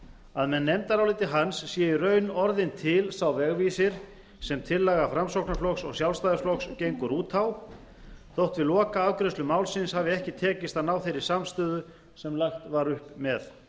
að með nefndaráliti hans sé í raun orðinn til sá vegvísir sem tillaga framsóknarflokks og sjálfstæðisflokks gengur út á þótt við lokaafgreiðslu málsins hafi ekki tekist að ná þeirri samstöðu sem lagt var upp með